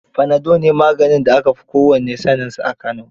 Fanado ne maganin da aka fi kowannae saaninsa a Kano.